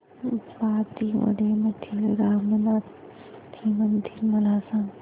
बांदिवडे मधील रामनाथी मंदिर मला सांग